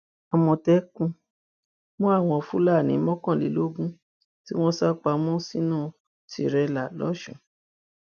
àmọtẹkùn mú àwọn fúlàní mọkànlélógún tí wọn sá pamọ sínú tirẹlà lọsùn